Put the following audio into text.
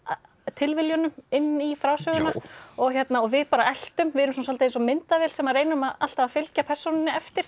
tilviljunum inn í frásöguna og við bara eltum við erum svolítið eins og myndavél sem reynum alltaf að fylgja persónunni eftir